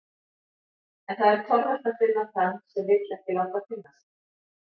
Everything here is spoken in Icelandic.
En það er torvelt að finna þann sem vill ekki láta finna sig.